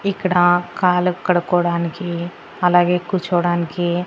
ఇక్కడ కాళ్ళు కడుక్కోవడానికి అలాగే కూర్చోవడానికి.